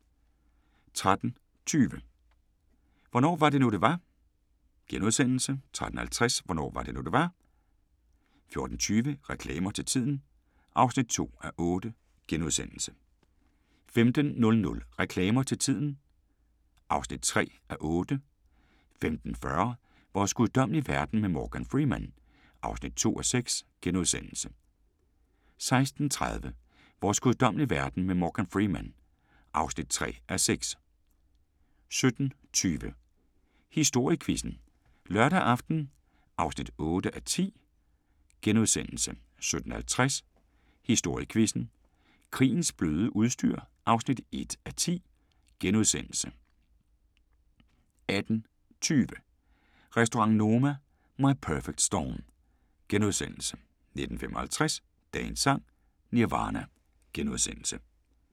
13:20: Hvornår var det nu, det var? * 13:50: Hvornår var det nu, det var? 14:20: Reklamer til tiden (2:8)* 15:00: Reklamer til Tiden (3:8) 15:40: Vores guddommelige verden med Morgan Freeman (2:6)* 16:30: Vores guddommelige verden med Morgan Freeman (3:6) 17:20: Historiequizzen: Lørdag aften (8:10)* 17:50: Historiequizzen: Krigens bløde udstyr (1:10)* 18:20: Restaurant Noma – My Perfect Storm * 19:55: Dagens Sang: Nirvana *